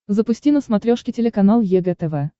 запусти на смотрешке телеканал егэ тв